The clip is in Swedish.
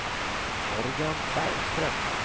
Morgan Bergström